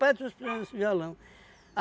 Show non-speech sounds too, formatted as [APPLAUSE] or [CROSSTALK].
Pai trouxe para [UNINTELLIGIBLE] violão.